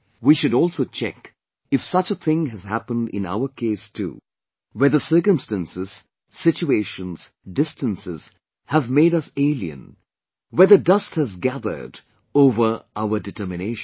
We should also check if such a thing has happened in our case too whether circumstances, situations, distances have made us alien, whether dust has gathered over our determinations